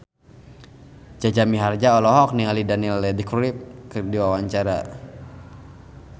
Jaja Mihardja olohok ningali Daniel Radcliffe keur diwawancara